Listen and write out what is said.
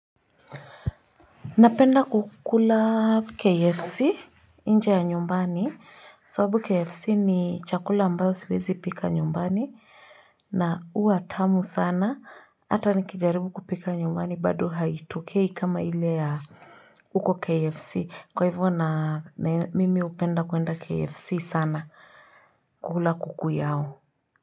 Napenda kukula KFC inje ya nyumbani. Sababu KFC ni chakula ambayo siwezi pika nyumbani. Na hua tamu sana. Hata nikijaribu kupika nyumbani bado haitokei kama ile ya uko KFC. Kwa hivyo na mimi hupenda kuenda KFC sana. Kukula kuku yao.